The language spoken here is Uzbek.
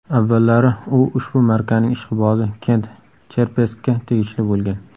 Avvallari u ushbu markaning ishqibozi Kent Cherpeskka tegishli bo‘lgan.